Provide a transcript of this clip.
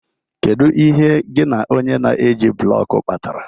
Kedu ihe gị na onye na-eji blọk kpatara?